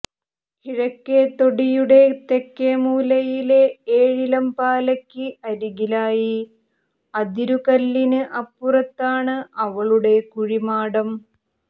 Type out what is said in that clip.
കിഴക്കേ തൊടിയുടെ തെക്കേമൂലയിലെ ഏഴിലംപാലയ്ക്ക് അരികിലായി അതിരുകല്ലിന് അപ്പുറത്താണ് അവളുടെ കുഴിമാടം